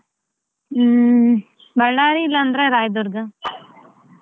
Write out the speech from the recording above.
ಹ್ಮ್‌ Ballary ಇಲ್ಲಂದ್ರೆ Rayadurga .